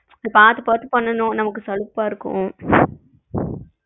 இத பாத்து பாத்து பண்ணனும் நமக்கு சலிப்பா இருக்கும்.